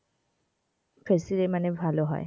specially মানে ভালো হয়.